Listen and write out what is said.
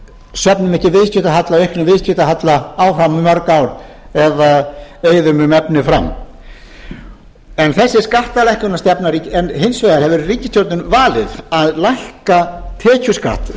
eilífðar söfnum ekki auknum viðskiptahalla áfram um mörg ár eða eyðum um efni fram en hins vegar hefur ríkisstjórnin valið að lækka tekjuskatt